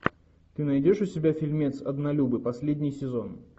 ты найдешь у себя фильмец однолюбы последний сезон